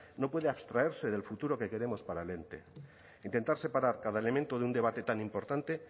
no puede abstraerse del futuro que queremos para el ente intentar separar cada elemento de un debate tan importante